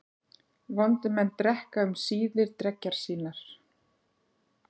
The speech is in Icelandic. Vondir menn drekka um síðir dreggjar sínar.